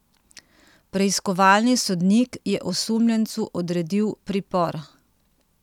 Preiskovalni sodnik je osumljencu odredil pripor.